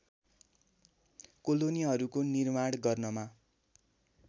कोलोनीहरूको निर्माण गर्नमा